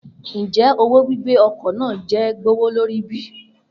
Njẹ owo gbigbe ọkọ naa jẹ gbowolori bi?